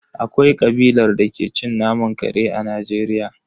Akwai kabilar da ke cin naman kare a Najeriya.